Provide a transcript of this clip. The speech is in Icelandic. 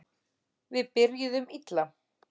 Við byrjuðum illa